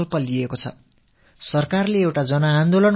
அரசு ஒரு மக்கள் இயக்கத்தை ஏற்படுத்தியிருக்கிறது